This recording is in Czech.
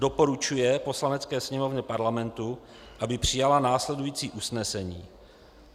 Doporučuje Poslanecké sněmovně Parlamentu, aby přijala následující usnesení: